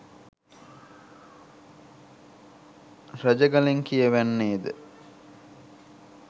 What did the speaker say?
රජගලින් කියවෙන්නේද